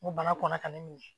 N ko bana kɔnna ka ne minɛ